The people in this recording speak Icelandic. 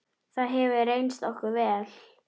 Það hefur reynst okkur vel.